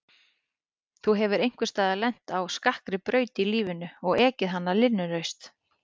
Þú hefur einhvers staðar lent á skakkri braut í lífinu og ekið hana linnulaust.